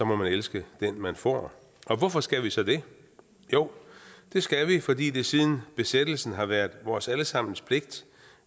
må man elske den man får og hvorfor skal vi så det jo det skal vi fordi det siden besættelsen har været vores alle sammens pligt